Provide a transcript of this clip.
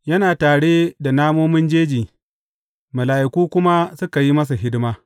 Yana tare da namomin jeji, mala’iku kuma suka yi masa hidima.